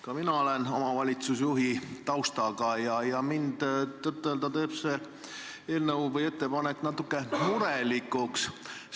Ka mina olen omavalitsusjuhi taustaga ja mind tõtt-öelda teeb see ettepanek natuke murelikuks.